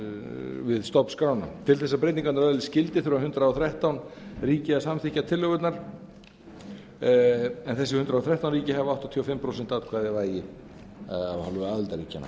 stofnskrána til þess að breytingarnar öðlist gildi þurfa hundrað og þrettán ríki að samþykkja tillögurnar en þessi hundrað og þrettán ríki hafa áttatíu og fimm prósent atkvæðavægi af hálfu aðildarríkjanna